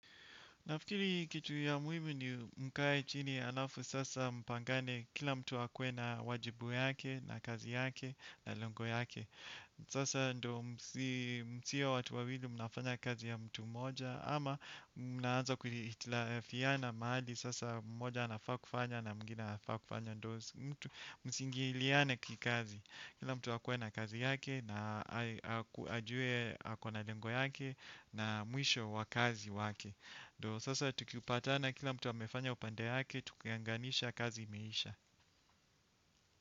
Nafikiri kitu ya muhimu ni mkae chini alafu sasa mpangane kila mtu akue na wajibu yake na kazi yake na lengo yake. Sasa ndo msiwe watu wawili mnafanya kazi ya mtu mmoja ama mnaanza kuhitalafiana mahali sasa mmoja anafaa kufanya na mwingine anafaakufanya ndo mtu msingiliane kikazi. Kila mtu akue kazi yake na ajue akona lengo yake na mwisho wakazi wake. Ndi sasa tukipata kila mtu amefanya upande yake tukianganisha kazi imeisha.